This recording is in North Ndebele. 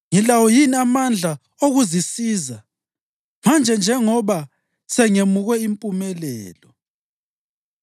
Ngilawo yini amandla okuzisiza, manje njengoba sengemukwe impumelelo?